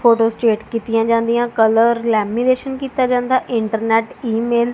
Photostat ਕੀਤੀਆਂ ਜਾਂਦੀਆਂ colour lamination ਕੀਤਾ ਜਾਂਦਾ ਇੰਟਰਨੈੱਟ ਈ_ਮੇਲ ।